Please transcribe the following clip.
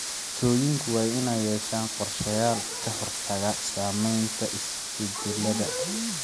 Bulshooyinku waa inay yeeshaan qorshayaal ka hortagga saameynta isbedelada.